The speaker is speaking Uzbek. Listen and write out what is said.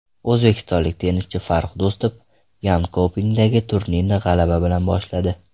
O‘zbekistonlik tennischi Farrux Do‘stov Yonkopingdagi turnirni g‘alaba bilan boshladi.